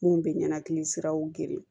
Mun bɛ ɲɛnakili siraw geren